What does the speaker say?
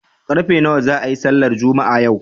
Karfe nawa za a yi sallar Juma'a yau?